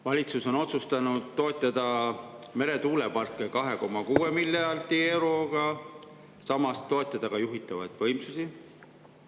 Valitsus on otsustanud toetada meretuuleparke 2,6 miljardi euroga ja samas toetada ka juhitavaid võimsusi.